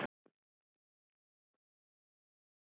Hún er líka dáin.